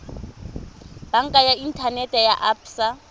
banka ya inthanete ya absa